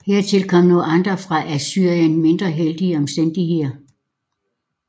Hertil kom nu andre for Assyrien mindre heldige omstændigheder